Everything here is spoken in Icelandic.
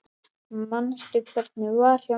Manstu hvernig var hjá mér?